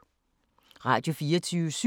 Radio24syv